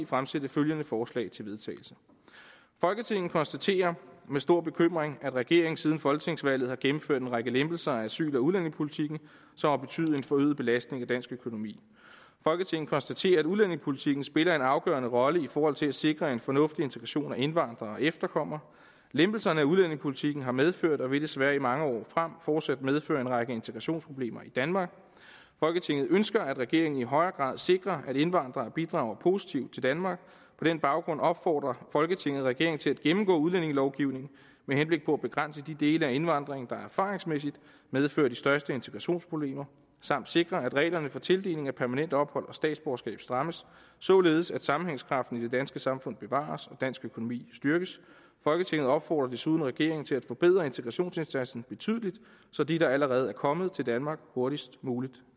fremsætte følgende forslag til vedtagelse folketinget konstaterer med stor bekymring at regeringen siden folketingsvalget har gennemført en række lempelser af asyl og udlændingepolitikken som har betydet en forøget belastning af dansk økonomi folketinget konstaterer at udlændingepolitikken spiller en afgørende rolle i forhold til at sikre en fornuftig integration af indvandrere og efterkommere lempelserne af udlændingepolitikken har medført og vil desværre i mange år frem fortsat medføre en række integrationsproblemer i danmark folketinget ønsker at regeringen i højere grad sikrer at indvandrere bidrager positivt til danmark på den baggrund opfordrer folketinget regeringen til at gennemgå udlændingelovgivningen med henblik på at begrænse de dele af indvandringen der erfaringsmæssigt medfører de største integrationsproblemer samt sikre at reglerne for tildeling af permanent ophold og statsborgerskab strammes således at sammenhængskraften i det danske samfund bevares og dansk økonomi styrkes folketinget opfordrer desuden regeringen til at forbedre integrationsindsatsen betydeligt så de der allerede er kommet til danmark hurtigst muligt